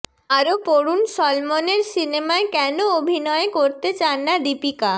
আরও পড়ুন সলমনের সিনেমায় কেন অভিনয়ে করতে চান না দীপিকা